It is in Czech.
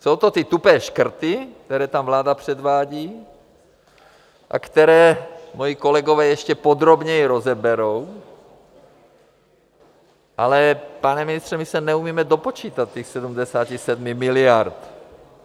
Jsou to ty tupé škrty, které tam vláda předvádí a které moji kolegové ještě podrobněji rozeberou, ale pane ministře, my se neumíme dopočítat těch 77 miliard.